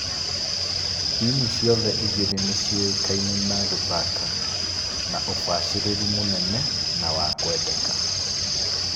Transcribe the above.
Timũ ciothe igĩri nĩciũĩkaine na gũthaka na ũbacĩrĩru mũnene na wa kwendeka